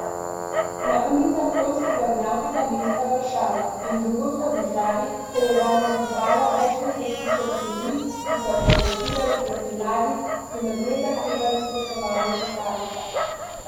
Na ulicah poljskega glavnega mesta Varšava in drugod po državi se je danes zbralo več deset tisoč ljudi, ki so protestirali proti vladi in od nje zahtevali spoštovanje ustave.